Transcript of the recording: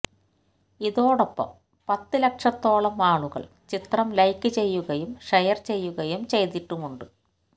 ഇതോടൊപ്പം പത്തുലക്ഷത്തോളം ആളുകൾ ചിത്രം ലൈക്ക് ചെയ്യുകയും ഷെയർ ചെയ്യുകയും ചെയ്തിട്ടുമുണ്ട്